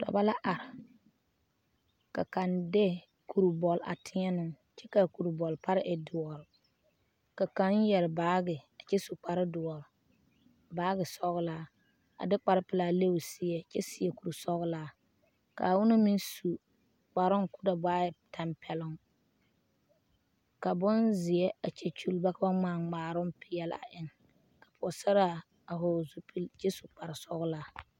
Dɔbɔ la are, ka kaŋa de kuri bɔle a tēɛnɛ o kyɛ ka a kuri bɔle pare e doɔre, ka kaŋa yɛre baagi kyɛ su kpare doɔre baagi sɔgelaa a de kpare pelaa le o seɛ kyɛ seɛ kuri sɔgelaa ka onaŋ meŋ su kparoo ka o da waa ŋa tampɛlooŋ ka bonzeɛ a kyɛ kyuli ba ka ba ŋmaa ŋmaaroŋ peɛle a eŋ ka pɔgesaraa a hɔgele zupili kyɛ su kpare sɔgelaa.